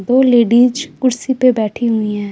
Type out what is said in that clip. दो लेडीज कुर्सी पर बैठी हुई हैं।